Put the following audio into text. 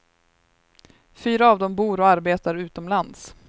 Fyra av dem bor och arbetar utomlands.